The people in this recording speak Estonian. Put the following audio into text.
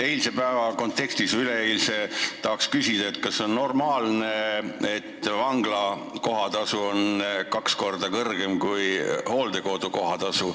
Üleeilse päeva kontekstis tahaks küsida, kas on normaalne, et vangla kohatasu on kaks korda kõrgem kui hooldekodu kohatasu.